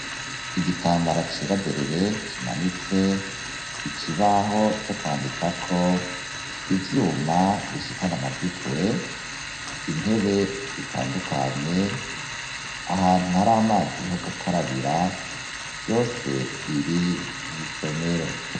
Igitambara cera derere kimanitse, ikibaho co kwandika ko ivyuma bishikan' amajwi kure intebe zitandukanye ahantu har'amazi ho gukarabira vyose biri mw' isomero